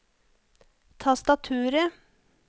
tastaturet